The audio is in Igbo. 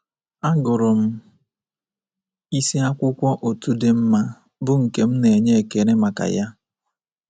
Agụrụ m isi akwụkwọ otu dị mma, bụ́ nke m na-enye ekele maka ya.